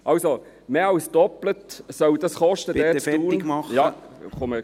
Also: Mehr als das Doppelte soll das dort in Thun kosten.